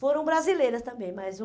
Foram brasileiras também, mas o...